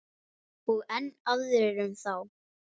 Og enn aðrir um þá.